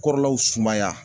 Kɔrɔlaw sumaya